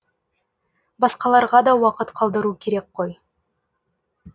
басқаларға да уақыт қалдыру керек қой